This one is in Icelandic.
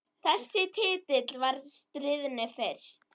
Þessi titill var stríðni fyrst.